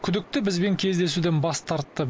күдікті бізбен кездесуден бас тартты